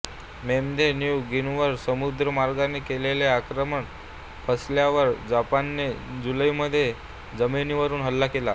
मेमध्ये New गिनीवर समुद्रीमार्गाने केलेले आक्रमण फसल्यावर जपानने जुलैमध्ये जमिनीवरुन हल्ला केला